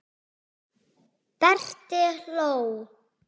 Berti hló.